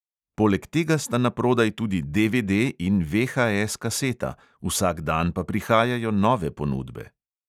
Poleg tega sta naprodaj tudi DVD- in VHS-kaseta, vsak dan pa prihajajo nove ponudbe!